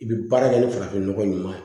I bɛ baara kɛ ni farafin nɔgɔ ɲuman ye